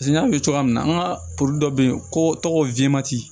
Paseke n y'a f'i ye cogoya min na an ka dɔ bɛ yen ko tɔgɔ